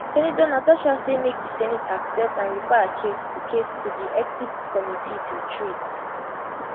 senator natasha say make di senate accept and refer her case to case to di ethics committee to treat